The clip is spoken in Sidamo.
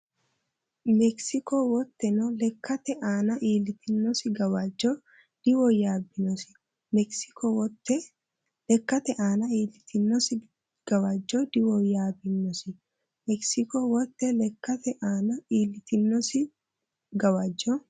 Mekisko woteno lekkate aana iillitinosi gawajjo diwoyyaabbinosi Mekisko woteno lekkate aana iillitinosi gawajjo diwoyyaabbinosi Mekisko woteno lekkate aana iillitinosi gawajjo.